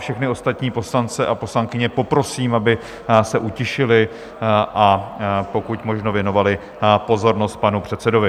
Všechny ostatní poslance a poslankyně poprosím, aby se utišili a pokud možno věnovali pozornost panu předsedovi.